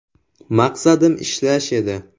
Maqsadim ishlash edi.